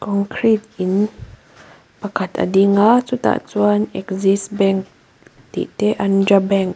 concrete in pakhat a ding a chutah chuan axis bank tih te andhra bank --